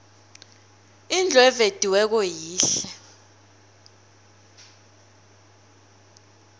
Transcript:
indlu evediweko yihle